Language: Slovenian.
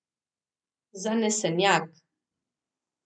Zanesenjak.